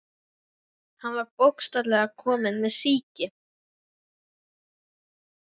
Hann var bókstaflega kominn með sýki.